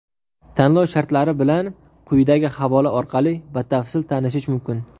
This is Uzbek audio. Tanlov shartlari bilan quyidagi havola orqali batafsil tanishish mumkin.